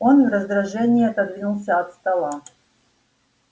он в раздражении отодвинулся от стола